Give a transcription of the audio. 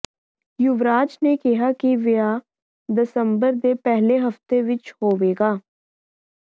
ਯੁਵਰਾਜ ਨੇ ਕਿਹਾ ਕਿ ਵਿਆਹ ਦਸੰਬਰ ਦੇ ਪਹਿਲੇ ਹਫਤੇ ਵਿਚ ਹੋਵੇਗਾ